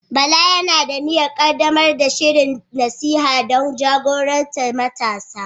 Bala yana da niyyar ƙaddamar da shirin nasiha don jagorantar matasa.